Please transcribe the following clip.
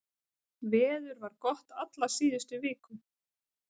Veður var gott alla síðustu viku